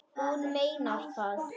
Hún meinar það.